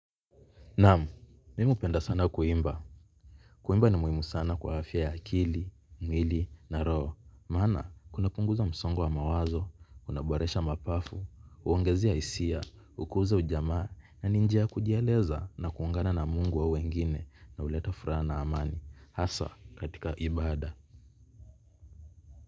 Naam mimi hupenda sana kuimba. Kuimba ni muhimu sana kwa afya ya akili, mwili na roho. Maana, kuna punguza msongo wa mawazo, kuna boresha mapafu, huongezea hisia, hukuza ujamaa na ni njia ya kujieleza na kuungana na Mungu au wengine na huleta furaha na amani. Haswa, katika ibada.